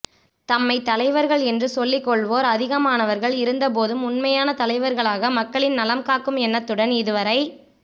தம்மை தலைவர்கள் என்று சொல்லிக்கொள்வோர் அதிகமானவர்கள் இருந்தபோதும் உனமையான தலைவர்களாக மக்களின் நலம்காக்கும் எண்ணத்துடன் இதுவரை